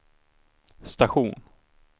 station